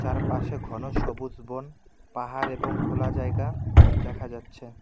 আর পাশে ঘন সবুজ বন পাহাড় এবং খোলা জায়গা দেখা যাচ্ছে।